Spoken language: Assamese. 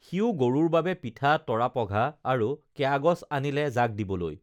সিও গৰুৰ বাবে পিঠা তৰাপঘা আৰু কেয়াগছ আনিলে জাক দিবলৈ